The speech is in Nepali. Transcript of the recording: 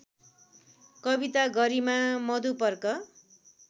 कविता गरिमा मधुपर्क